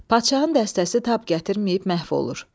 Paşanın dəstəsi tab gətirməyib məhv olur.